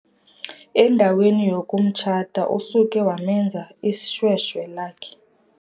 Endaweni yokumtshata usuke wamenza ishweshwe lakhe.